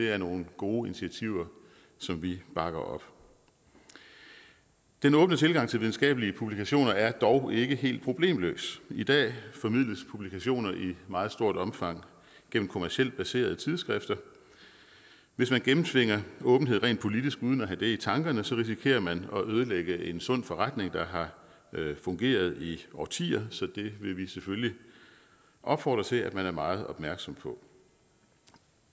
er nogle gode initiativer som vi bakker op den åbne tilgang til videnskabelige publikationer er dog ikke helt problemløs i dag formidles publikationer i meget stort omfang gennem kommercielt baserede tidsskrifter hvis man gennemtvinger åbenhed rent politisk uden at have det i tankerne risikerer man at ødelægge en sund forretning der har fungeret i årtier så det vil vi selvfølgelig opfordre til at man er meget opmærksom på